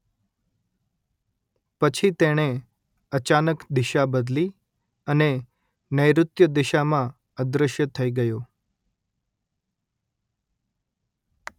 પછી તેણે અચાનક દિશા બદલી અને નૈઋત્ય દિશામાં અદ્રશ્ય થઈ ગયો